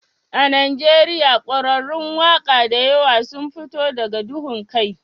A Najeriya ƙwararrun waƙa da yawa sun fito daga duhun kai